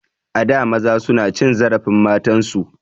A da maza suna cin zarafin matan su.